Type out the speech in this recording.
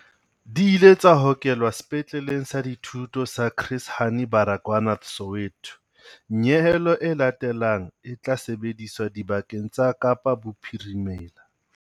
Di ile tsa hokelwa Sepetleleng sa Dithuto sa Chris Hani Baragwanath Soweto. Nyehelo e latelang e tla sebediswa dibakeng tsa Kapa Bophirimela.